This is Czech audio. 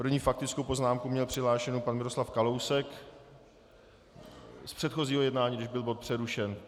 První faktickou poznámku měl přihlášenou pan Miroslav Kalousek z předchozího jednání, když byl bod přerušen.